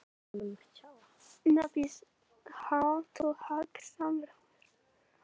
Funda á ný eftir tvær vikur